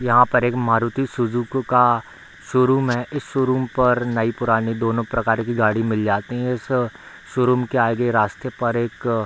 यहाँ पर एक मारुती सुजुकी का शोरूम है | इस शोरूम पर नयी पुरानी दोनों प्रकर की गाड़ी मिल जाती है | इस श शोरूम के आगे रस्ते पर एक --